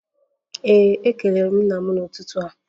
Ee, m kelere nna m n'ụtụtụ a